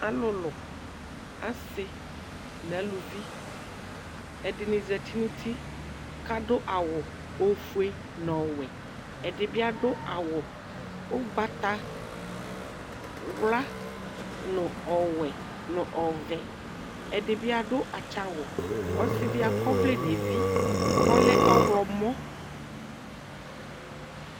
Alʋlʋ asɩ nʋ alʋvi ɛdini zati nʋ ʋti kʋ adʋ awʋ ofue nʋ owʋɛ ɛdibi adʋ awʋ ʋgbatawla nʋ ɔwʋɛ nʋ ɔvɛ ɛdibi adʋ atsa awʋ ɔsidi akɔ ɔvlɛ nʋ evi kʋ ɔlɛ ɔwlɔmɔ